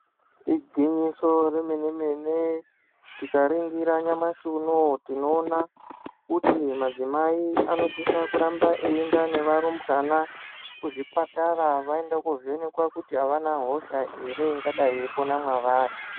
Igwinyiso remenemene, tikaringira nyamashi unoyu tinoona kuti madzimai anosisa kuramba eienda nevarumbwana kuzvipatara vaende kovhenekwa kuti avana hosha here ingadai yeipona mavari.